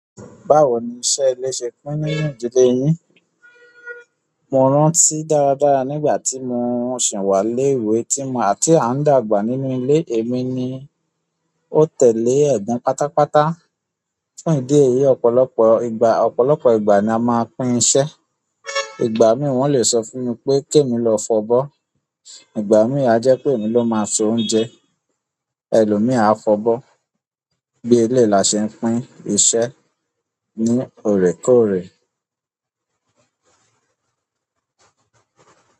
Báwo ni iṣẹ́ ilé ṣe pín nínú ìdílé yín? Mo rántí dáradára nígbà tí mo sì wá lé ìwé tí ma àti àǹdàgbà nínú ilé è mi ni o tẹ̀lé ẹ̀gbon pátápátá. Fún idi èyí, ọ̀pọ̀lọpọ̀ ìgbà, ọ̀pọ̀lọpọ̀ ìgbà ni a máa ń pín iṣẹ́. Ìgbà mìíràn won lè sọ fún mi pé kí emi lọ fọ̀bọ́. Igbami a je pe emi lo ma so oúnjẹ elomi a fobo. Bí eléyi la ṣe ń pín iṣẹ̀ ní òrèkóòrè.